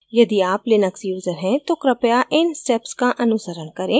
यदि आप Linux user है तो कृपया इन steps का अनुसरण करें